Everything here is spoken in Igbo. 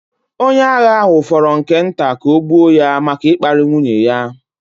Onye agha ahụ fọrọ nke nta ka ọ gbuo ya maka ịkparị nwunye ya.